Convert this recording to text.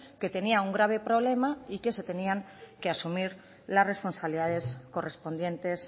que tenía un grave problema y que se tenían que asumir las responsabilidades correspondientes